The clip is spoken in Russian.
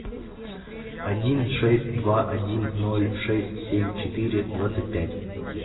один шесть два один ноль шесть семь четыре двадцать пять